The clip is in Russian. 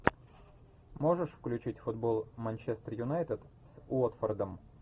можешь включить футбол манчестер юнайтед с уотфордом